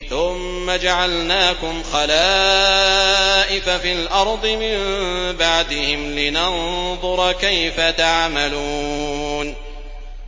ثُمَّ جَعَلْنَاكُمْ خَلَائِفَ فِي الْأَرْضِ مِن بَعْدِهِمْ لِنَنظُرَ كَيْفَ تَعْمَلُونَ